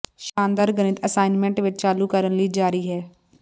ਸ਼ਾਨਦਾਰ ਗਣਿਤ ਅਸਾਇਨਮੈਂਟਸ ਵਿੱਚ ਚਾਲੂ ਕਰਨ ਲਈ ਜਾਰੀ ਹੈ